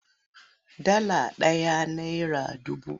Dala ɗaya nera dubu.